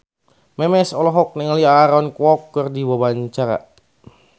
Memes olohok ningali Aaron Kwok keur diwawancara